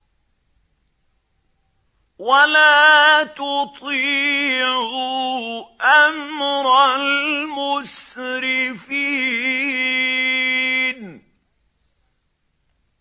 وَلَا تُطِيعُوا أَمْرَ الْمُسْرِفِينَ